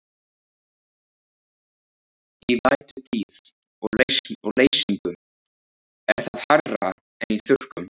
Í vætutíð og leysingum er það hærra en í þurrkum.